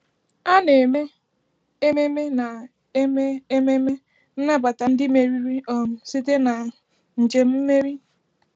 A na-eme ememme na-eme ememme nnabata ndị meriri um site na njem mmeri.